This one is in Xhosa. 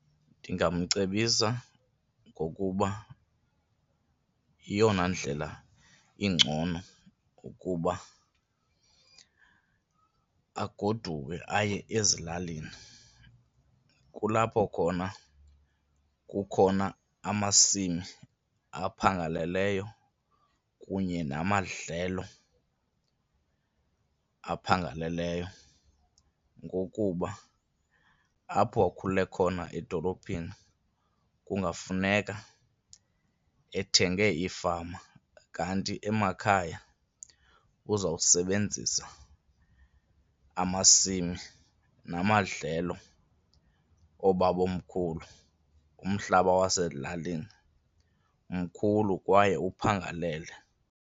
Ndingamcebisa ngokuba yeyona ndlela ingcono ukuba agoduke aye ezilalini, kulapho khona kukhona amasimi aphangaleleyo kunye namadlelo aphangaleleyo. Ngokuba apho akhule khona edolophini kungafuneka ethenge ifama kanti emakhaya ubuzawusebenzisa, amasimi namadlelo oobawomkhulu, umhlaba wasezilalini mkhulu kwaye uphangalele.